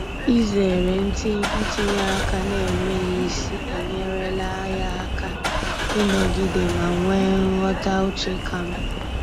Izere ntinye aka n'enweghị isi enyerela ya aka ịnọgide ma nwee nghọta uche ka mma.